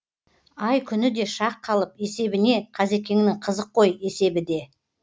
ай күні де шақ қалып есебіне қазекеңнің қызық қой есебі де